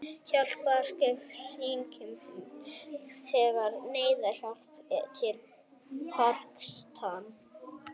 Hjálparstarf kirkjunnar sendir neyðarhjálp til Pakistan